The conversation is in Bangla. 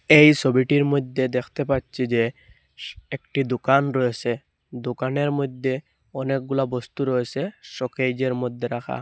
এই ছবিটির মধ্যে দেখতে পাচ্ছি যে স একটি দোকান রয়েসে দোকানের মইধ্যে অনেকগুলা বস্তু রয়েসে শোকেজের মধ্যে রাখা।